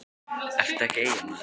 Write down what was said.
ertu ekki Eyjamaður?